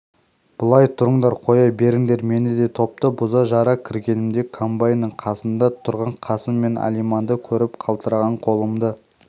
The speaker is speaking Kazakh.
былай тұрыңдар қоя беріңдер мені деп топты бұза-жара кіргенімде комбайнның қасында тұрған қасым мен алиманды көріп қалтыраған қолымды